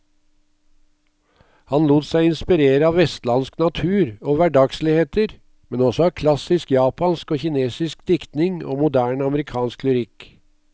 Han lot seg inspirere av vestlandsk natur og hverdagsligheter, men også av klassisk japansk og kinesisk diktning og moderne amerikansk lyrikk.